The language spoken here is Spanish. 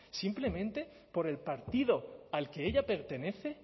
simplemente por el partido al que ella pertenece